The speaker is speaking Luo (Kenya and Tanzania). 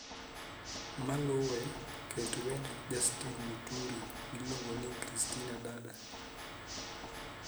Maluwee ket wend justin muturi miluongo ni kristina dada